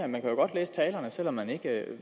man kan jo godt læse talerne selv om man ikke